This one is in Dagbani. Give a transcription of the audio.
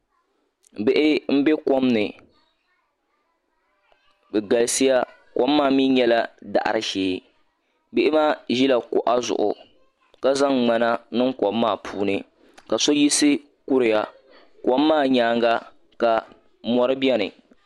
bihi n bɛ kom ni bi galisiya kom maa mi nyɛla daɣiri shɛɛ bihi maa ʒɛla kuɣ' zuɣ' ka zaŋ gbana niŋ kom maa puuni ka so yiɣisi kuriya kom 'as nyɛŋa mori bɛni